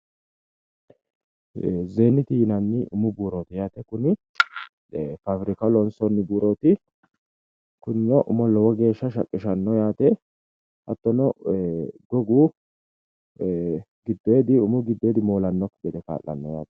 zeeniti yinanni umu buuroti yaate, kuni fabirikaho lonsoonni buuroti kunino umo lowo geeshsha shaqqishano yaate, hattono umu giddodo moolanokki gede ka'lano yaate.